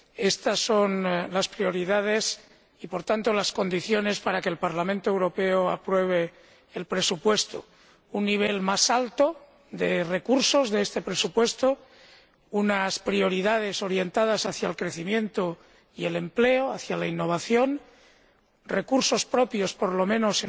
Estas son las prioridades y, por tanto, las condiciones para que el Parlamento Europeo apruebe el presupuesto un nivel más alto de los recursos de este presupuesto, unas prioridades orientadas hacia el crecimiento, el empleo y la innovación, unos recursos propios, por lo menos,